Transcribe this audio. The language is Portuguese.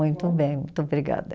Muito bem, muito obrigada.